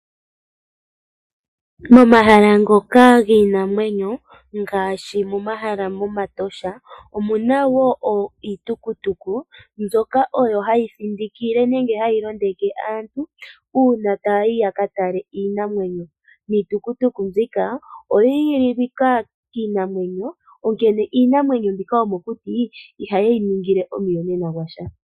Momahala ngoka giinamwenyo ngaashi momahala gEtosha omuna woo iitukutuku mbyoka oyo hayi thindikile nenge hayi londeke aantu uuna taayi ya ka tale iinamwenyo. Niitukutuku mbika oyi igililwa kiinamwenyo, onkene iinamwenyo mbika yomokuti ihayi yi ningile omuyonena gwasha.